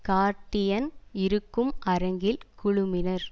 Guardian இருக்கும் அரங்கில் குழுமினர்